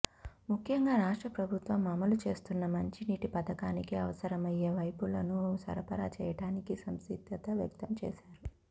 ముఖ్యంగా రాష్ట్ర ప్రభుత్వం అమలు చేస్తున్న మంచినీటి పథకానికి అవసరమయ్యే పైపులను సరఫరా చేయడానికి సంసిద్ధత వ్యక్తం చేశారు